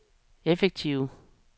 effektive